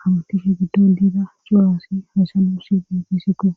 hawatishe giddo liida cuwaassi haysalu si dibisikko